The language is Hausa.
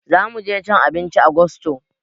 Zamuje cin abinci a gusto